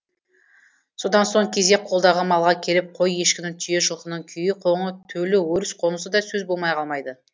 содан соң кезек қолдағы малға келіп қой ешкіні түйе жылқының күйі қоңы төлі өріс қонысы да сөз болмай қалмайды